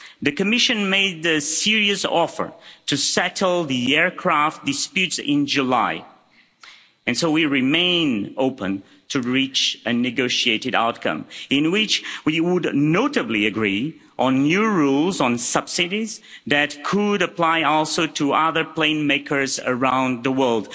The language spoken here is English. The Commission made a serious offer to settle the aircraft disputes in July, and so we remain open to reach a negotiated outcome, in which we would notably agree on new rules on subsidies that could apply also to other plane makers around the world.